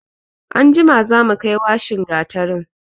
Anjima za mu kai washin gatarin.